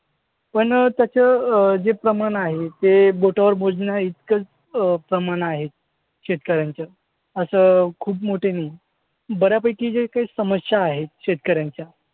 पण त्याचं अं जे प्रमाण आहे ते बोटावर मोजण्याइतकंच अं प्रमाण आहे शेतकऱ्यांचं. असं खूप मोठं नाही. बऱ्यापैकी ज्या काही समस्या आहेत शेतकऱ्यांच्या